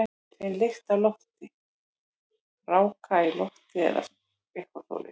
Ég finn lykt af lofti, raka í lofti eða eitthvað svoleiðis.